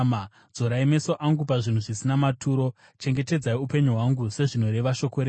Dzorai meso angu pazvinhu zvisina maturo; chengetedzai upenyu hwangu sezvinoreva shoko renyu.